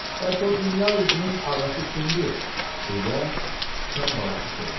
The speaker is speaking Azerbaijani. Bəs o dünya üzünün ağası kimdir, deyə sıçan balası soruşdu.